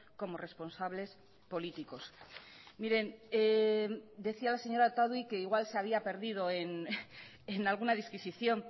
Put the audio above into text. como responsables políticos miren decía la señora otadui que igual se había perdido en alguna disquisición